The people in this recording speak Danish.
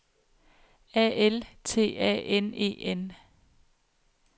A L T A N E N